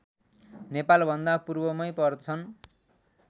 नेपालभन्दा पूर्वमै पर्छन्